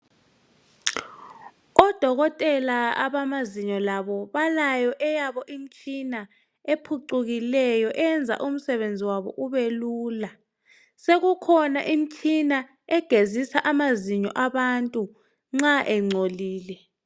Odokotela abamanzinyo labo balyo eyabo imtshina ephucukileyo eyenza umsebenzi wabo ubelula sekukhona imtshina egezisa amazinyo abantu nxa engcolile.